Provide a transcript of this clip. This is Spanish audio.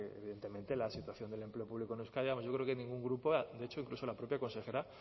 de que evidentemente la situación del empleo público en euskadi vamos yo creo que ningún grupo de hecho incluso la propia consejera